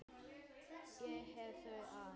Já, ég þurfti aðeins að.